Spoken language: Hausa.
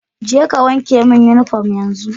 Je ka wanke min uniform yanzu